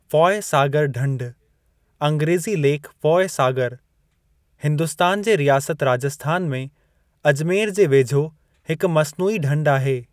Foy Sagar ढंढ (अंग्रेज़ी lake Foy Sagar) Hindustan जे रियासत राजस्थान में अजमेर जे वेझो हिकु मस्नूई ढंढ आहे।